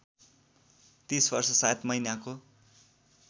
३० वर्ष ७ महिनाको